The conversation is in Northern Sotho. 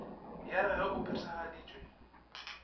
ya r ge o phethagaditše